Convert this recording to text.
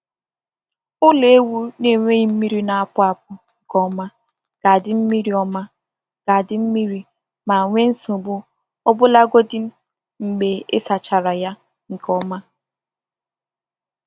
Ụlọ ewu na-enweghị mmiri na-apụ apụ nke ọma ga-adị mmiri ọma ga-adị mmiri ma nwee nsogbu ọbụlagodi mgbe ị sachachara ya nke ọma